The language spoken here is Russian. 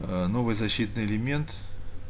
аа новый защитный элемент